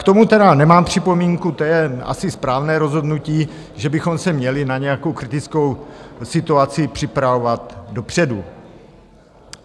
K tomu tedy nemám připomínku, to je asi správné rozhodnutí, že bychom se měli na nějakou kritickou situaci připravovat dopředu.